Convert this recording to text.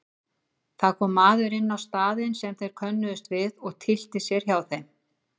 Það kom maður inn á staðinn sem þeir könnuðust við og tyllti sér hjá þeim.